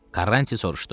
Karranti soruşdu: